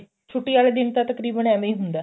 ਛੁੱਟੀ ਵਾਲੇ ਦਿਨ ਤਾਂ ਤਕਰੀਬਨ ਐਵੇ ਈ ਹੁੰਦਾ